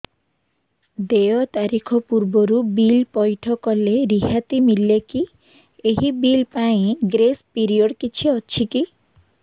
ଦେୟ ତାରିଖ ପୂର୍ବରୁ ବିଲ୍ ପୈଠ କଲେ ରିହାତି ମିଲେକି ଏହି ବିଲ୍ ପାଇଁ ଗ୍ରେସ୍ ପିରିୟଡ଼ କିଛି ଅଛିକି